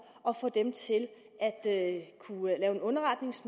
og få dem til at lave en underretning så